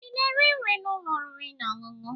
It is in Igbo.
Ị na-eri nri n'ụlọ oriri na ọṅụṅụ?